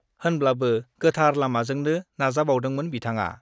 होनब्लाबो गोथार लामाजोंनो नाजाबावदोंमोन बिथांआ।